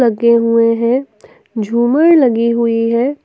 लगे हुए है झूमर लगी हुई है।